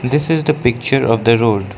this is the picture of the road.